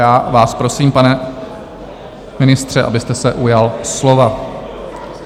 Já vás prosím, pane ministře, abyste se ujal slova.